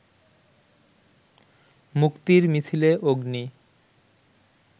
মুক্তির মিছিলে 'অগ্নি'